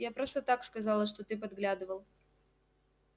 я просто так сказала что ты подглядывал